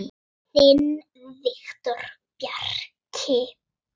Þinn Viktor Bjarki.